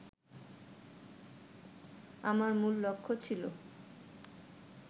আমার মূল লক্ষ্য ছিল